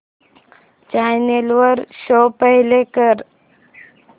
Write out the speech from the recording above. channel वर show play कर